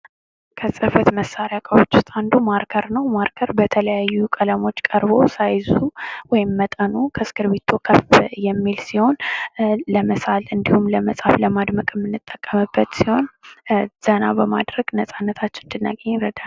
ከጽፈት መሳሪያዎች እቃወች ውስጥ አንዱ ማርከር ነው። ማርከር በተለያዩ ቀለሞች ቀርቦ ሳይዙ ወይም መጠኑ ከእስክርቢቶ ከፍ የሚል ሲሆን ለመሳል እንድሁም ለመጻፍ ለማድመቅ የምንጠቀምበት ሲሆን ዘና በማድረግ ነፃነታችንን እንድናገኝ ይረዳናል።